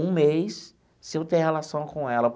Um mês sem eu ter relação com ela.